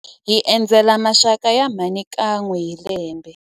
Hi endzela maxaka ya mhani kan'we hi lembe.